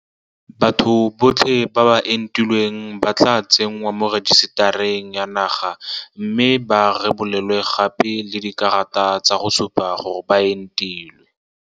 Batho botlhe ba ba entilweng ba tla tsenngwa mo rejisetareng ya naga mme ba rebolelwe gape le dikarata tsa go supa gore ba entilwe.